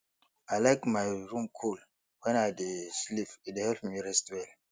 i like my room cool when i dey sleep e dey help me rest well